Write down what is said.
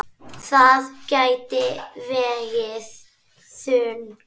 Það gæti vegið þungt.